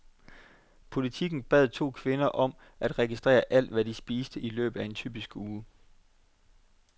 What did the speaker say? Politiken bad to kvinder om at registrere alt, hvad de spiste i løbet af en typisk uge.